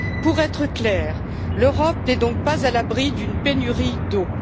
Pour être claire, l'Europe n'est donc pas à l'abri d'une pénurie d'eau.